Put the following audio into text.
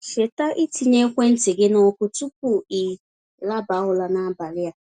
Cheta ịtinye ekwentị gị na ọkụ tupu i laba ụra n'abalị a.